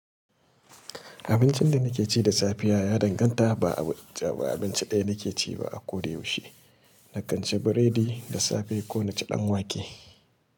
Abincin da nake ci da safe ya danganta. Ba abinci ɗaya nake ci ba a ko da yaushe. Na kan ci biredi da safe ko na ci ɗanwake.